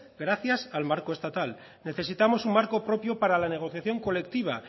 gracias al marco estatal necesitamos un marco propio para la negociación colectiva